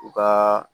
U ka